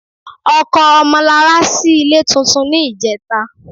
Ọkọ Ọmọlarà ṣí ilé tuntun ní ìjẹta